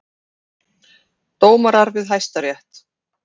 Dómarar við Hæstarétt.